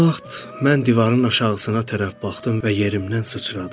Bu vaxt mən divarın aşağısına tərəf baxdım və yerimdən sıçradım.